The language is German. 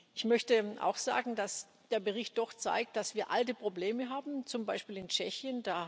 Ich möchte auch sagen, dass der Bericht doch zeigt, dass wir alte Probleme haben, zum Beispiel in Tschechien.